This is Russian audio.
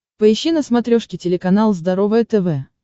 поищи на смотрешке телеканал здоровое тв